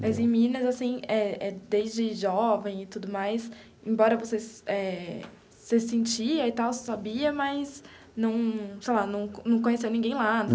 Mas em Minas, assim eh eh, desde jovem e tudo mais, embora você eh você sentia e tal, você sabia, mas não sei lá não não conhecia ninguém lá